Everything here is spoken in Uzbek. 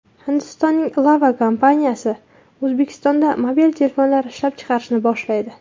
Hindistonning Lava kompaniyasi O‘zbekistonda mobil telefonlar ishlab chiqarishni boshlaydi.